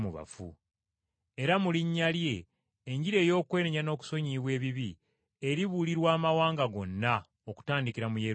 Era mu linnya lye Enjiri ey’okwenenya n’okusonyiyibwa ebibi eribuulirwa amawanga gonna okutandikira mu Yerusaalemi.